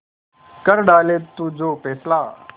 कर डाले तू जो फैसला